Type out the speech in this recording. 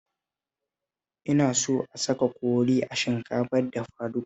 Ina so a saka kori a shinkafa dafaduka